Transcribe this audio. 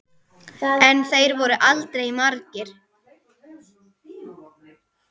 En þeir voru aldrei margir.